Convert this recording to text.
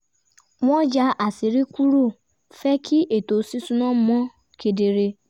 wọ́n yà àṣírí kúrò fẹ́ kí ètò ṣíṣúná mọ́ kedere